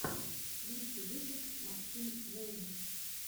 лучший выпуск максим лэйн